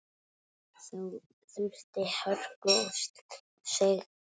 Þá þurfti hörku og seiglu.